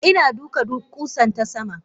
Ina duka kusan tasama.